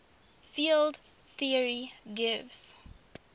field theory gives